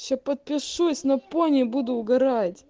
сейчас подпишусь на пони буду угорать